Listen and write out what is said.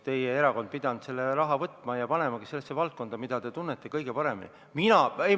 Teie erakond oleks pidanud selle raha võtma ja panemagi sellesse valdkonda, mida te kõige paremini tunnete.